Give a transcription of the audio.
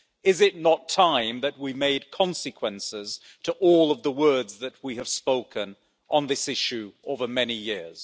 Is it not time that we made consequences to all of the words that we have spoken on this issue over many years?